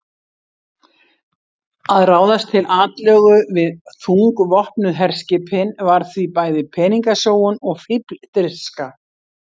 Að ráðast til atlögu við þungvopnuð herskipin var því bæði peningasóun og fífldirfska.